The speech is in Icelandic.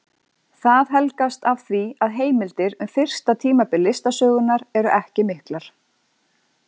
Það helgast af því að heimildir um fyrsta tímabil listasögunnar eru ekki miklar.